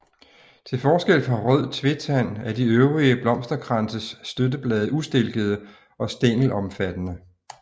Til forskel fra rød tvetand er de øvre blomsterkranses støtteblade ustilkede og stængelomfattende